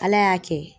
Ala y'a kɛ